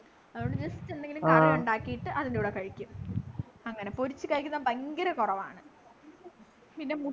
അതുകൊണ്ട് just എന്തെങ്കിലും curry ഉണ്ടാക്കിടട്ടു അതിൻ്റെ കൂടെ കഴിക്കും അങ്ങനെ പൊരിച്ചു കഴിക്കുന്നത് ഭയങ്കര കുറവാണു പിന്നെ മു